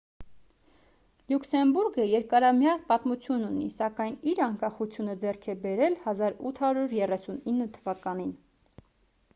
լյուքսեմբուրգը երկարամյա պատմություն ունի սակայն իր անկախությունը ձեռք է բերել 1839 թվականին